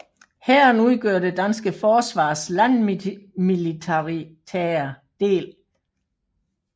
Hæren udgør det danske forsvars landmilitære del